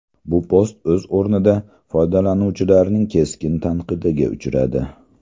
Bu post o‘z o‘rnida foydalanuvchilarning keskin tanqidiga uchradi.